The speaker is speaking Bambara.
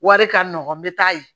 Wari ka nɔgɔn n bɛ taa yen